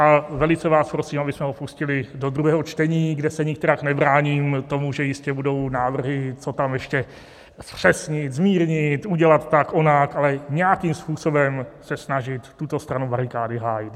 A velice vás prosím, abychom ho pustili do druhého čtení, kde se nikterak nebráním tomu, že jistě budou návrhy, co tam ještě zpřesnit, zmírnit, udělat tak, onak, ale nějakým způsobem se snažit tuto stranu barikády hájit.